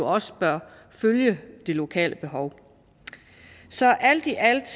også bør følge det lokale behov så alt i alt